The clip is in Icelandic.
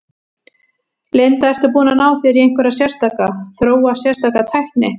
Linda: Ertu búinn að ná þér í einhverja sérstaka, þróa sérstaka tækni?